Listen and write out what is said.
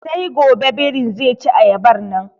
Sai gobe birin ze ci ayabar nan.